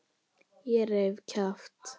Ég reif kjaft.